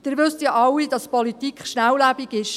Sie wissen ja alle, dass die Politik schnelllebig ist.